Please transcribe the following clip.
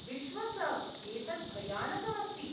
विश्वस, एतत् भयानकम् अस्ति।